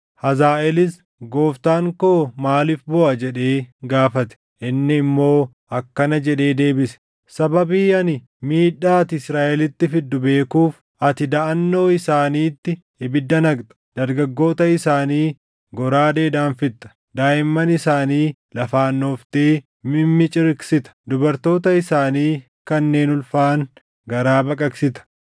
Hazaaʼeelis, “Gooftaan koo maaliif booʼa?” jedhee gaafate. Inni immoo akkana jedhee deebise; “Sababii ani miidhaa ati Israaʼelitti fiddu beekuuf; ati daʼannoo isaaniitti ibidda naqxa; dargaggoota isaanii goraadeedhaan fixxa; daaʼimman isaanii lafaan dhooftee mimmiciriqsita; dubartoota isaanii kanneen ulfaaʼan garaa baqaqsita.”